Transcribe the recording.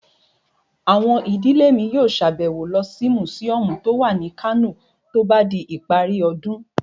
Àwọn ìdílé mi yóò sàbẹ̀wo lọ sí mùsíọ̀mù tó wà ní Kano tó bá di ìparí ọdún